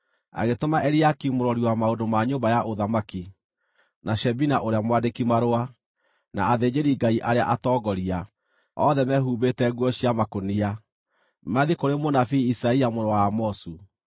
Agĩtũma Eliakimu mũrori wa maũndũ ma nyũmba ya ũthamaki, na Shebina ũrĩa mwandĩki-marũa, na athĩnjĩri-Ngai arĩa atongoria, othe mehumbĩte nguo cia makũnia, mathiĩ kũrĩ mũnabii Isaia mũrũ wa Amozu.